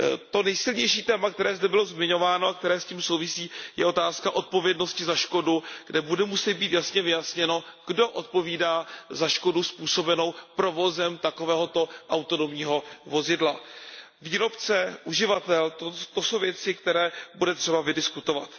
To nejsilnější téma, které zde bylo zmiňováno a které s tím souvisí, je otázka odpovědnosti za škodu, kde bude muset být jasně vyjasněno, kdo odpovídá za škodu způsobenou provozem takového autonomního vozidla. Výrobce, uživatel, to jsou věci, které bude třeba vydiskutovat.